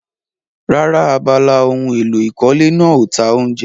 Rárá, abala ohun èlò ìkọ́lé náà ò ta oúnjẹ.